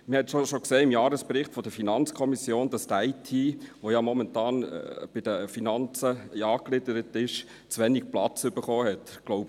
Man hat es schon im Jahresbericht der FiKo gesehen, dass die IT, die ja momentan bei den Finanzen angegliedert ist, zu wenig Platz erhalten hat;